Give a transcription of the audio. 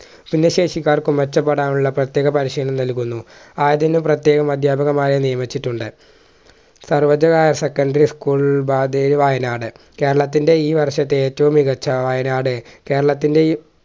ഭിന്നശേഷിക്കാർക്ക് മെച്ചപ്പെടാനുള്ള പ്രത്യേക പരിശീലനം നൽകുന്നു ആയതിനു പ്രത്യേക അദ്ധ്യാപിക മാരെ നിയമിച്ചിട്ടുണ്ട് Sarvodaya higher secondary school Wayanad കേരളത്തിൻറെ ഈ വർഷത്തെ ഏറ്റവും മികച്ച വയനാട് കേരളത്തിൻറെ ഈ